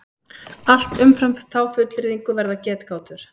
Allt umfram þá fullyrðingu verða getgátur.